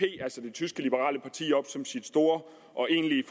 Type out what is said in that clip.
tyske liberale parti op som sit store og egentlige